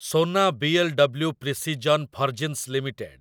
Sona BLW. Precision forgings limited